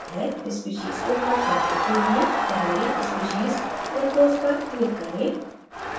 speciesको cut करने के लिए पहले species fructose पर click करें